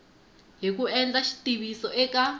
hi ku endla xitiviso eka